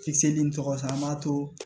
Fili in tɔgɔ sumaa an b'a to